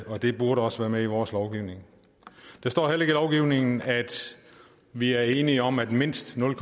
og det burde også være med i vores lovgivning der står heller ikke i lovgivningen at vi er enige om at mindst nul